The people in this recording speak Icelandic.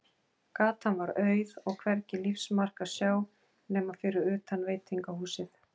Gatan var auð, og hvergi lífsmark að sjá nema fyrir utan veitingahúsið.